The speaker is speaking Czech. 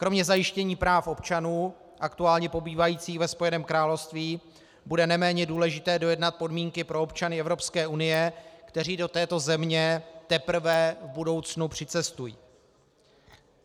Kromě zajištění práv občanů aktuálně pobývajících ve Spojeném království bude neméně důležité dojednat podmínky pro občany Evropské unie, kteří do této země teprve v budoucnu přicestují.